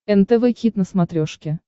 нтв хит на смотрешке